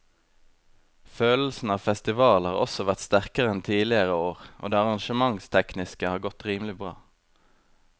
Følelsen av festival har også vært sterkere enn tidligere år og det arrangementstekniske har godt rimelig bra.